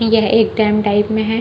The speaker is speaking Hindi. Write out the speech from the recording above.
यह एक डैम टाइप में है।